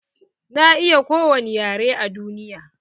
Na iya kowani yare a duniya.